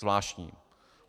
Zvláštní.